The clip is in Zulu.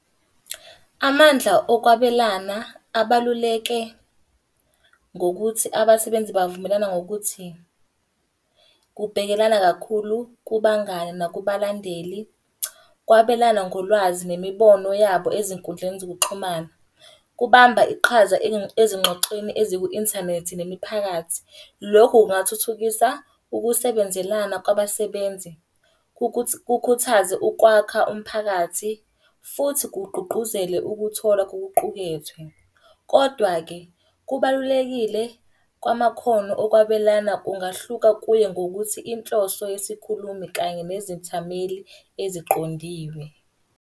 Amandla okwabelana abaluleke ngokuthi abasebenzi bavumelana ngokuthi, kubhekelana kakhulu kubangani nakubalandeli, kwabelana ngolwazi nemibono yabo ezinkundleni zokuxhumana. Kubamba iqhaza ezingxoxweni eziku-inthanethi nemiphakathi. Lokhu kungathuthukisa ukusebenzelana kwabasebenzi, kukhuthaze ukwakha umphakathi, futhi kugqugquzele ukuthola kokuqukethwe. Kodwa-ke, kubalulekile kwamakhono okwabelana kungahluka kuye ngokuthi inhloso yesikhulumi kanye nezethameli eziqondiwe.